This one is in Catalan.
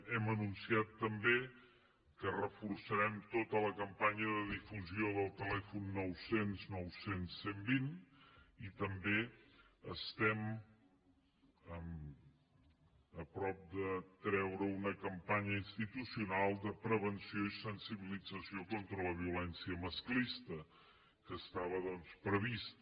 hem anunciat també que reforçarem tota la campanya de difusió del telèfon nou cents nou cents cent i vint i també estem a prop de treure una campanya institucional de prevenció i sensibilització contra la violència masclista que estava doncs prevista